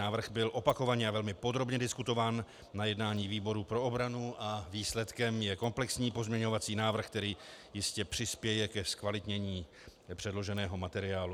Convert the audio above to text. Návrh byl opakovaně a velmi podrobně diskutován na jednání výboru pro obranu a výsledkem je komplexní pozměňovací návrh, který jistě přispěje ke zkvalitnění předloženého materiálu.